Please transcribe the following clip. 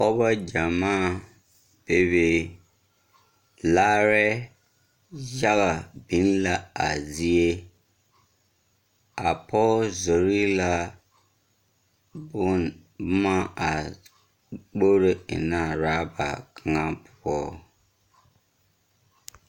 Pɔɔbɔ gyamaa bebe. Larɛɛ yaga biŋ la a zie. A pɔge zori la bon boma a kporo ennɛ a raba kaŋa poɔ.